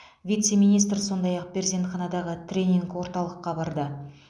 вице министр сондай ақ перзентханадағы тренинг орталыққа барды